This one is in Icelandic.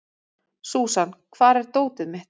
Súsan, hvar er dótið mitt?